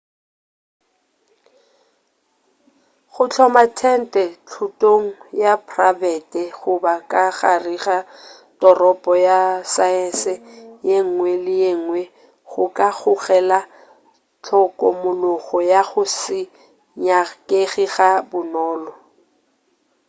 go hloma tente thotong ya prabete goba ka gare ga toropo ya saese yengwe le yengwe go ka gogela hlokomologo ya go se nyakege ga bonolo